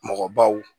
Mɔgɔbaw